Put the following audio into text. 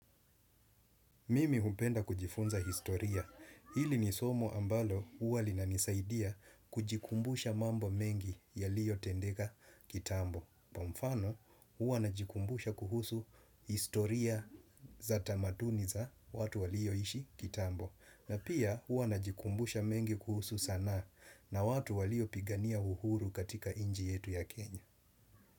Mimi hupenda kujifunza historia. Hili ni somo ambalo uwa linanisaidia kujikumbusha mambo mengi yaliyotendeka kitambo. Pa mfano uwa najikumbusha kuhusu historia za tamaduni za watu walioishi kitambo. Na pia uwa najikumbusha mengi kuhusu sanaa na watu waliopigania uhuru katika inji yetu ya Kenya.